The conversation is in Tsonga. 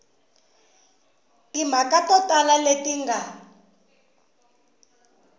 timhaka to tala leti nga